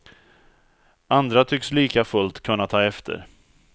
Andra tycks likafullt kunna ta efter.